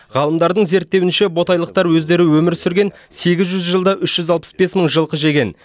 ғалымдардың зерттеуінше ботайлықтар өздері өмір сүрген сегіз жүз жылда үш жүз алпыс бес мың жылқы жеген